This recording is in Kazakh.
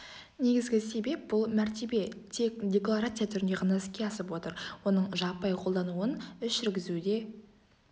негізгі себеп бұл мәртебе тек декларация түрінде ғана іске асып отыр оның жаппай қолдануын іс жүргізуде